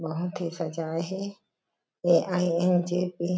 बहोत ही सजाये हे ए_आई_एन_जी_पी --